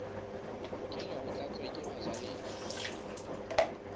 lokela ho tlatswa ke bajalefa